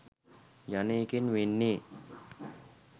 යන එකෙන් වෙන්නේ